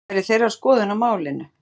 Það væri þeirra skoðun á málinu?